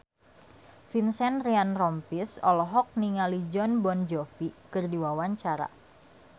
Vincent Ryan Rompies olohok ningali Jon Bon Jovi keur diwawancara